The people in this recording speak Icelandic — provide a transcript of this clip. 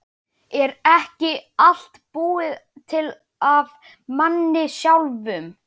Er ekki allt búið til af manni sjálfum?